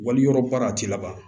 Wali yɔrɔ baara a tɛ laban